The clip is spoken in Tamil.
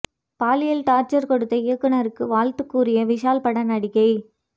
பாலியல் டார்ச்சர் கொடுத்த இயக்குனருக்கு வாழ்த்து கூறிய விஷால் பட நடிகை